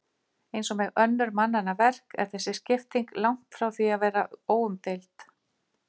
Eins og með önnur mannanna verk er þessi skipting langt frá því að vera óumdeild.